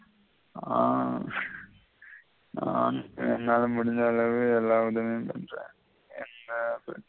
ஆஹ் நான் என்னால முடிஞ்ச அளவு எல்லா உதவியும் பண்றன் என்ன பற்றி